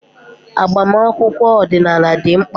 Agbamakwụkwọ ọdịnala dị mkpa.